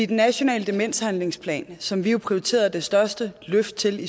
den nationale demenshandlingsplan som vi jo prioriterede det største løft til